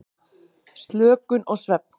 Slökun og svefn.